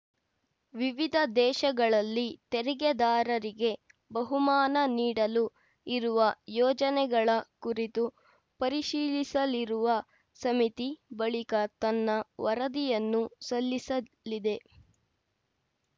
ವಿವಿಧ ದೇಶಗಳಲ್ಲಿ ತೆರಿಗೆದಾರರಿಗೆ ಬಹುಮಾನ ನೀಡಲು ಇರುವ ಯೋಜನೆಗಳ ಕುರಿತು ಪರಿಶೀಲಿಸಲಿರುವ ಸಮಿತಿ ಬಳಿಕ ತನ್ನ ವರದಿಯನ್ನು ಸಲ್ಲಿಸಲಿದೆ